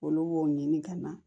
Olu b'o ɲini ka na